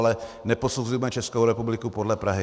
Ale neposuzujme Českou republiku podle Prahy.